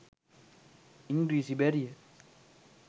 ඉංග්‍රීසි බැරිය